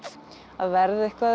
að verða eitthvað